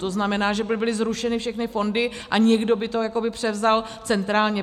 To znamená, že by byly zrušeny všechny fondy a někdo by to jakoby převzal centrálně.